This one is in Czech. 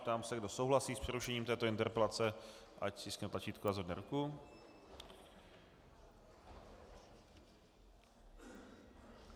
Ptám se, kdo souhlasí s přerušením této interpelace, ať stiskne tlačítko a zvedne ruku.